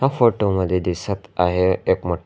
फोटों मध्ये दिसत आहे एक मो--